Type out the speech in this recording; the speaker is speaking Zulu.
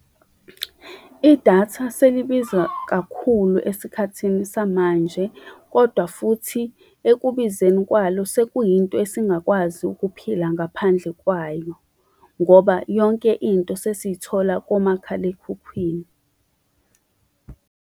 Idatha selibiza kakhulu esikhathini samanje, kodwa futhi ekubizeni kwalo sekuyinto esingakwazi ukuphila ngaphandle kwayo ngoba yonke into sesithola komakhalekhukhwini